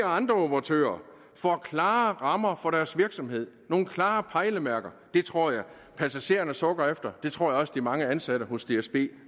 og andre operatører får klare rammer for deres virksomhed nogle klare pejlemærker det tror jeg passagererne sukker efter det tror jeg også de mange ansatte hos dsb